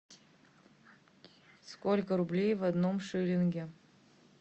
сколько рублей в одном шиллинге